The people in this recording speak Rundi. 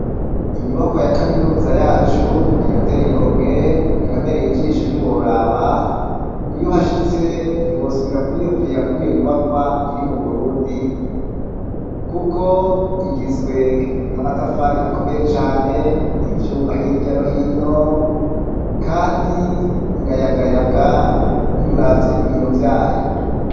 Inyubakwa ya kaminuza yacu irateye igomwe irabereye ijisho ntiworaba iyo hashitse ntiwosubira kwiyumvira kwiyo nyubakwa iri mu burundi, kuko igizwe n'amatafari akomeye cane ivyuma hirya no hino, kandi irayagayaga iyuravye ibiyo vyayo.